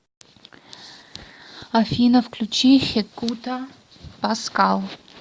афина включи хекуто паскал